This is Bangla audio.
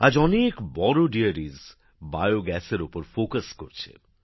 আজ অনেক বড় বড় ডেয়ারি জৈবগ্যাস নিয়ে কাজ করছে